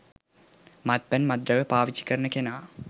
මත්පැන් මත්ද්‍රව්‍ය පාවිච්චි කරන කෙනා